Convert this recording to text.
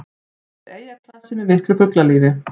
Þetta er eyjaklasi með miklu fuglalífi